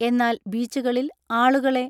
എന്നാൽ ബീച്ചുകളിൽ ആളുകളെ